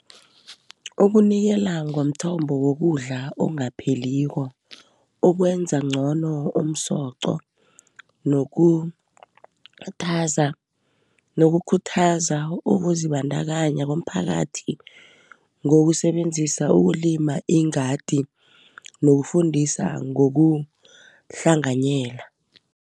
Okunikela ngomthombo wokudla ongapheliko, ukwenza ngcono komsoqo, nokukhuthaza ukuzibandakanya komphakathi, ngokusebenzisa ukulima ingadi, nokufundisa ngokuhlanganyela.